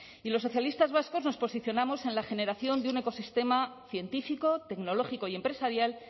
y los socialistas vascos nos posicionamos en la generación de un ecosistema científico tecnológico y empresarial